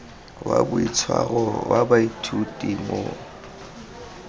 wa boitshwaro wa baithuti mo